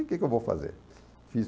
E o que que eu vou fazer? Fiz